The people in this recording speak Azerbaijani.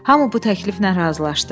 Hamı bu təkliflə razılaşdı.